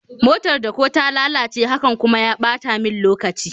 motar dako ta lalace, hakan kuma ya bata min lokaci